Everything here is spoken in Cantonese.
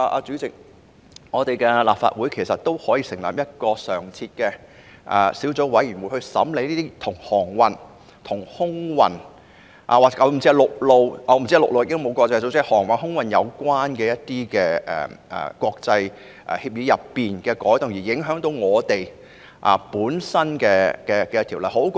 主席，立法會也可以成立一個常設小組委員會，專責審議航運、空運或陸運——現時應該沒有國際陸運組織——國際協議當中會影響本港法例的改動。